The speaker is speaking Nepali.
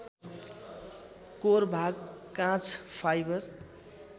कोर भाग काँच फाइबर